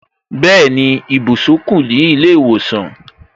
Bẹẹni, ibùsùn ku ni ile iwosan